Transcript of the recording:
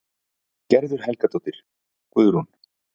Gerður Helgadóttir, Guðrún